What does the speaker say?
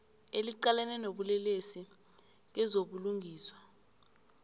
eliqalene nobulelesi kezobulungiswa